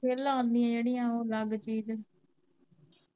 ਫਿਰ ਲਾਨੀਆ ਜਿਹੜੀਆ ਓਹ ਅਲੱਗ ਚੀਜ।